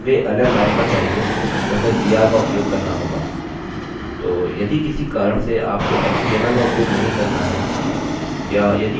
यदि हमें वे अलग लाइन पर चाहिए तो हमें br का उपयोग करना होगा